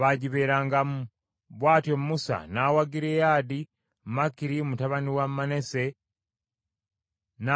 Bw’atyo Musa n’awa Gireyaadi, Makiri mutabani wa Manase, n’atuula omwo.